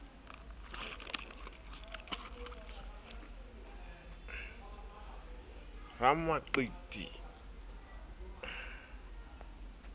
ramaqiti e ne e le